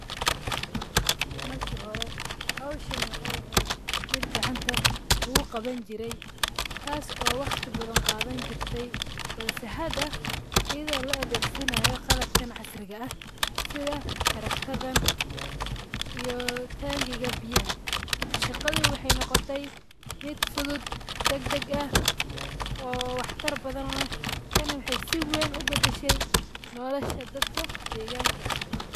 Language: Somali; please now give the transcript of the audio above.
Marki hore howshan wxay ehed mid gacanta lagu qawan jire tas o waqti badhan qadan jirte balse hada iyodo la adegsanayo qalabkan casriga ah sitha taragrada iyo tangiga biyaha shaqadi wxay noqotey mid fudud dagdag ah oo wax tar badhan leh tani wxay si wen u badashe nololsha dadka deganka.